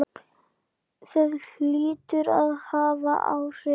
Það hlýtur að hafa áhrif.